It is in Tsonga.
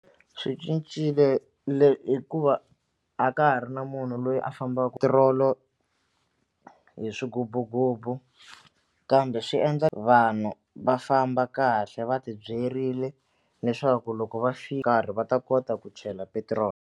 Swi cincile le hikuva a ka ha ri na munhu loyi a fambaka hi swigububugubu kambe swi endla vanhu va famba kahle va ti byerile leswaku loko va swi karhi va ta kota ku chela petiroli.